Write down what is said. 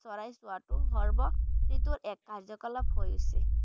চৰাই চোৱাটো সৰ্ব যিটো এক কাৰ্য্য-কলাপ হৈ উঠিছে।